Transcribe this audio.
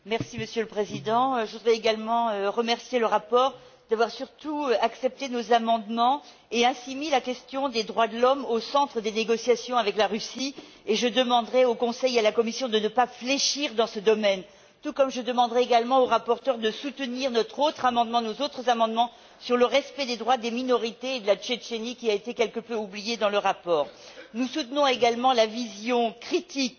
Monsieur le Président, je voudrais également remercier le rapporteur d'avoir accepté nos amendements et placé la question des droits de l'homme au centre des négociations avec la Russie. Je demanderai au Conseil et à la Commission de ne pas fléchir dans ce domaine, tout comme je demanderai au rapporteur de soutenir nos autres amendements sur le respect des droits des minorités et de la Tchétchénie, qui a été quelque peu oubliée dans le rapport. Nous soutenons également la vision critique